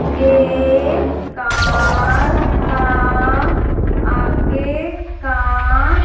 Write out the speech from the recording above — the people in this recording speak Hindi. ये कार का आगे का--